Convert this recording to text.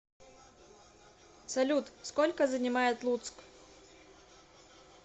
салют сколько занимает луцк